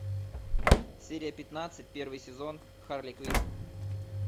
серия пятнадцать первый сезон харли квинн